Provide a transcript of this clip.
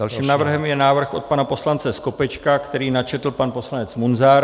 Dalším návrhem je návrh od pana poslance Skopečka, který načetl pan poslanec Munzar.